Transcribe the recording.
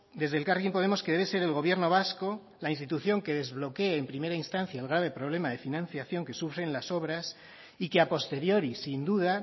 desde elkarrekin podemos que debe ser el gobierno vasco la institución que desbloquee en primera instancia el grave problema de financiación que sufren las obras y que a posteriori sin duda